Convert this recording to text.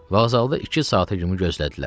Vağzalda iki saata kimi gözlədilər.